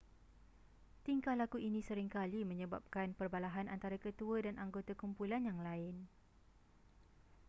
tingkah laku ini sering kali menyebabkan perbalahan antara ketua dan anggota kumpulan yang lain